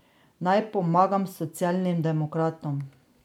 Naj pomagam socialnim demokratom.